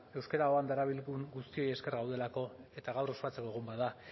euskera darabilgun guztioi esker gaudelako eta gaur ospatzeko egun bada